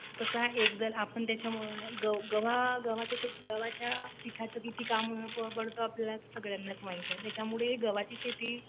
तसा हा एकदल आणि गव्हाच्या पिठाचं किती काम पडतं हे आपल्या सगळ्यांनाच माहीत आहे. त्याच्यामुळं गव्हाची शेती